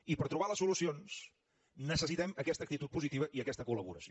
i per trobar les solucions necessitem aquesta actitud positiva i aquesta col·laboració